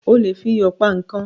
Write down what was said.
O lè fi iyò pa ikán